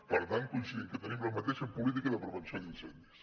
per tant coincidim que tenim la mateixa política de prevenció d’incendis